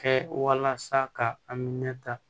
Kɛ walasa ka aminɛ ta